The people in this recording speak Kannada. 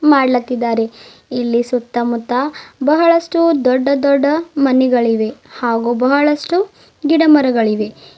ಮಾಡ್ಲಾತಿದಾರೆ ಇಲ್ಲಿ ಸುತ್ತಮುತ್ತ ಬಹಳಷ್ಟು ದೊಡ್ಡ ದೊಡ್ಡ ಮನೆಗಳಿವೆ ಹಾಗೂ ಬಹಳಷ್ಟು ಗಿಡಮರಗಳಿಗೆ.